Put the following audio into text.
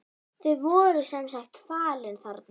Þau voru sem sagt falin þarna.